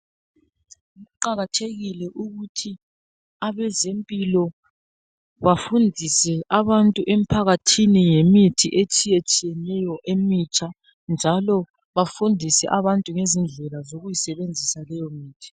Kuqakathekile ukuthi abezempilo bafundise abantu emphakathini ngemithi etshiyetshiyeneyo emitsha njalo bafundise abantu ngezindlela zokuyisebenzisa leyomithi